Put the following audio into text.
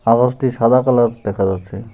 আকাশটি সাদা কালার দেখা যাচ্ছে।